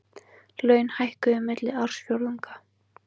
Laun hækkuðu milli ársfjórðunga